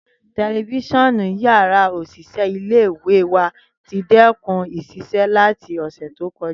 Tẹlifisiọnu ni yàrá oṣiṣẹ ile-iwe wa ti dẹkun iṣẹ lati ọsẹ to kọja.